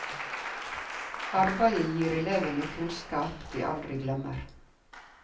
Arbeidet gir elevene kunnskap de aldri glemmer.